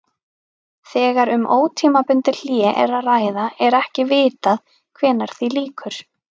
Þegar um ótímabundið hlé er að ræða er ekki vitað hvenær því lýkur.